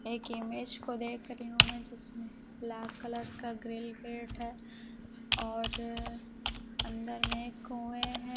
एक इमेज को देख रही हूं मैं जिसमें लाल कलर का ग्रिल गेट है और अंदर में कुएं हैं।